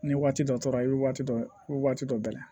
Ni waati dɔ tora i bɛ waati dɔ waati dɔ bɛɛ la